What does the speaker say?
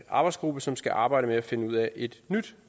arbejdsgruppe som skal arbejde med at finde ud af et nyt